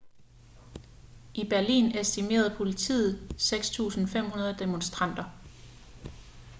i berlin estimerede politiet 6.500 demonstranter